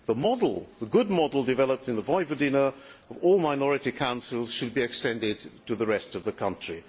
The model the good model developed in Vojvodina of all minority councils should be extended to the rest of the country.